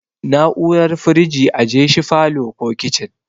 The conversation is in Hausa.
Na'urar firiji ajeshi falow ko kicin